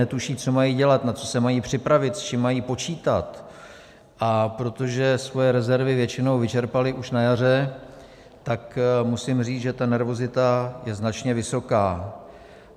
Netuší, co mají dělat, na co se mají připravit, s čím mají počítat, a protože své rezervy většinou vyčerpali už na jaře, tak musím říct, že ta nervozita je značně vysoká.